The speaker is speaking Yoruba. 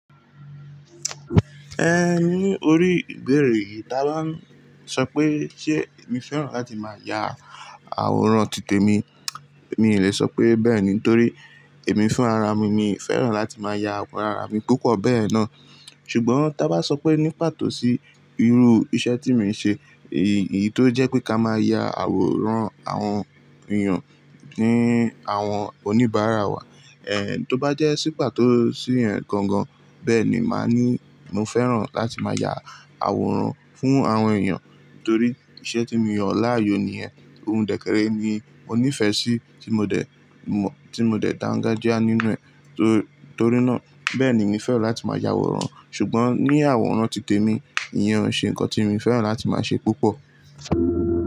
Ẹ ní orí ìbéèrè yìí, ta ló ń sọ pé ṣé èmi fẹ́ràn láti máa ya àwòrán títè mi? Mi ò lè sọ pé bẹ́ẹ̀ ni, torí èmi fún ara mi, mi fẹ́ràn láti máa ya àwòrán ara mi púpọ̀ bẹ́ẹ̀ náà. Ṣùgbọ́n tá bá sọ pé ní pàtó sí irú iṣẹ́ tí mo ń ṣe, èyí tó jẹ́ pé ká máa ya àwòrán àwọn èèyàn ní àwọn oníbàárà wa, ẹ tó bá jẹ́ sí pàtó sí ẹ̀ gangan, bẹ́ẹ̀ ni màá ní mo fẹ́ràn láti máa ya àwòrán fún àwọn èèyàn. Torí iṣẹ́ tí mo yàn láàyò nìyẹn, ohun dè kè ré ni mo níìfẹ̀ sí tí mo dẹ̀ mọ̀, tí mo dẹ̀ dangajia nínú ẹ̀. Torí náà bẹ́ẹ̀ ni mi fẹ́ràn láti máa ya àwòrán. Ṣùgbọ́n ní àwòrán títè mi, ìyẹn ò ṣe nǹkan tí mo fẹ́ràn láti máa ṣe púpọ̀